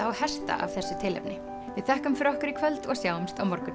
og hesta af þessu tilefni við þökkum fyrir okkur í kvöld og sjáumst á morgun